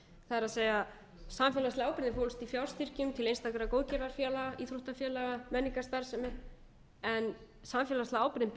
það er samfélagslega ábyrgðin fólst í sjálfsstyrkjum til einstakra góðgerðarfélaga íþróttafélaga menningarstarfsemi en samfélagslega ábyrgðin beindist